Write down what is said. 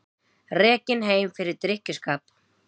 Rekinn heim fyrir drykkjuskap